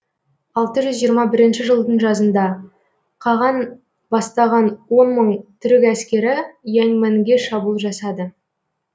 алты жүз жиырма бірінші жылдың жазында қаған бастаған он мың түрік әскері яньмэнге шабуыл жасады